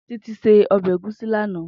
Titi sé òbè égúsì làná